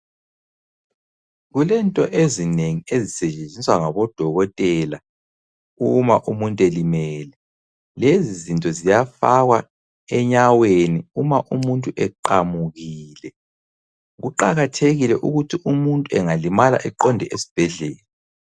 Kulento ezinengi ezisetshenziswa ngabodokotela uma umuntu elimele, lezizinto ziyafakwa enyaweni uma umuntu eqamukile. Kuqakathekile ukuthi umuntu engalimala eqonde esibhedlela.